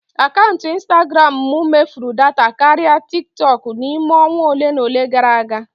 Akaụntụ instagram m mefuru data karịa tikitooku n'ime onwa ole na ole gara aga.